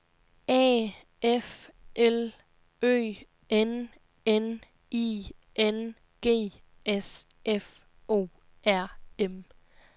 A F L Ø N N I N G S F O R M